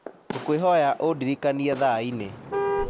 ngũkwĩhoya ũndirikanie thaa-inĩ